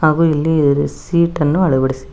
ಹಾಗು ಇಲ್ಲಿ ರೀಸಿಟ ಅನ್ನು ಅಳವಡಿಸಿ--